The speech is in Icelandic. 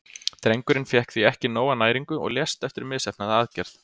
Drengurinn fékk því ekki nóga næringu og lést eftir misheppnaða aðgerð.